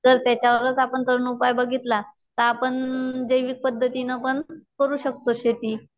तर त्याच्यावरच जर आपण उपाय बघितलातर आपण जैविक पद्धतीने पण करू शकतो शेती